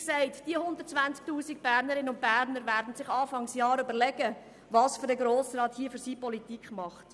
Diese 120 000 Bernerinnen und Berner werden sich Anfang Jahr überlegen, welcher Grosse Rat es ist, der die Politik für sie macht.